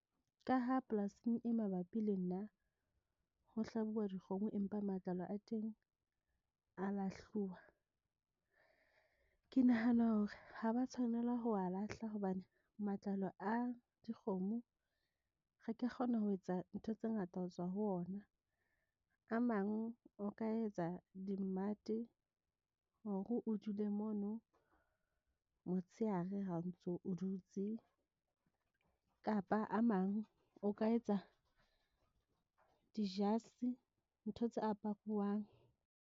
Ka ha polasing e mabapi le nna ho hlabuwa dikgomo, empa matlalo a teng a lahluwa, ke nahana hore ha ba tshwanela ho wa lahla hobane matlalo a dikgomo. Re ka kgona ho etsa ntho tse ngata ho tswa ho ona. A mang o ka etsa di mmate hore o dule mono motsheare ha o ntso o dutse kapa a mang o ka etsa di jase ntho tse aparwang.